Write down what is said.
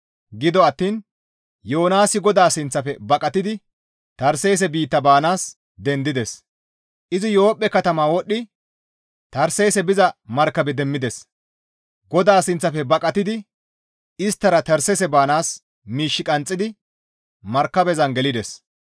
Gido attiin Yoonaasi GODAA sinththafe baqatidi Tarseese biitta baanaas dendides; izi Yoophphe katamaa wodhidi Tarseese biza markabe demmides; GODAA sinththafe baqatidi isttara Tarseese baanaas miish qanxxidi markabezan gelides.